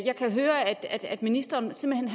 jeg kan høre at ministeren simpelt